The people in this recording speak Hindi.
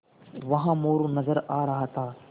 वहाँ मोरू नज़र आ रहा था